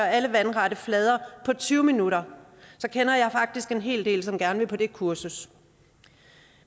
alle vandrette flader på tyve minutter så kender jeg faktisk en hel del som gerne vil på det kursus